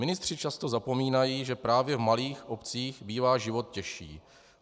Ministři často zapomínají, že právě v malých obcích bývá život těžší.